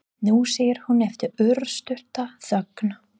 Nú, segir hún eftir örstutta þögn.